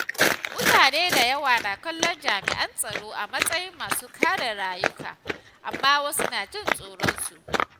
Mutane da yawa na kallon jami’an tsaro a matsayin masu kare rayuka, amma wasu na jin tsoronsu.